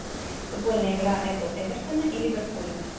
футбольная игра апл эвертона и ливерпуля